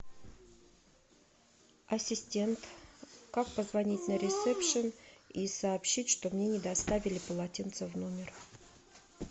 ассистент как позвонить на ресепшн и сообщить что мне не доставили полотенца в номер